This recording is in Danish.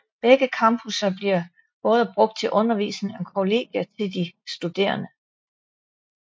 Begge campusser bliver både brugt til undervisning og kollegier til de studerende